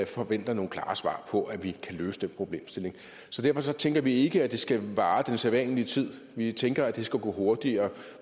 forventer nogle klare svar på at vi kan løse den problemstilling så derfor tænker vi ikke at det skal vare den sædvanlige tid vi tænker at det skal gå hurtigere